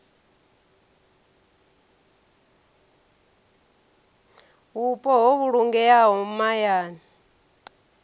vhupo ho vhulungeaho ha mahayani